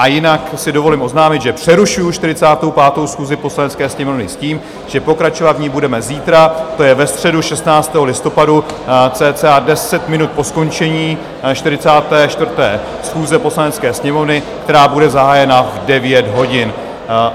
A jinak si dovolím oznámit, že přerušuji 45. schůzi Poslanecké sněmovny s tím, že pokračovat v ní budeme zítra, to je ve středu 16. listopadu, cca 10 minut po skončení 44. schůze Poslanecké sněmovny, která bude zahájena v 9 hodin.